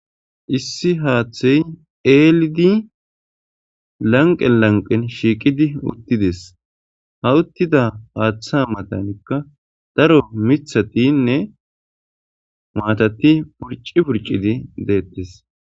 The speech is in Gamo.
Issi haaththey eelidi lanqqe lanqen shiiqidi uttides. ha uttida haaththa maatankka daro mithatinne maatati purci purcidi deettes.